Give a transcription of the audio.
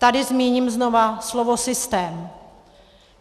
Tady zmíním znova slovo systém.